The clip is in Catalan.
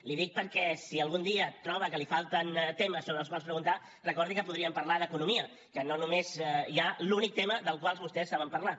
li ho dic perquè si algun dia troba que li falten temes sobre els quals preguntar recordi que podríem parlar d’economia que no només hi ha l’únic tema del qual vostès saben parlar